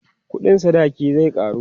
ƙuɗin sadaki zai karu